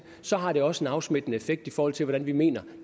så har det også en afsmittende effekt i forhold til hvordan vi mener